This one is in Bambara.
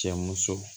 Cɛ muso